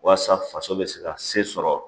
Walasa faso bɛ se ka se sɔrɔ